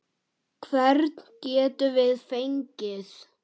Hvern getum við fengið?